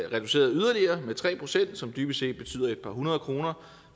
reduceret yderligere med tre pct som dybest set betyder et par hundrede kroner